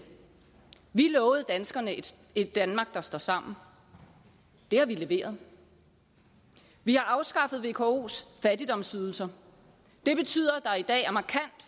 vi lovede danskerne et danmark der står sammen det har vi leveret vi har afskaffet vko’s fattigdomsydelser det betyder